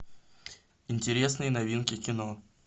интересные новинки кино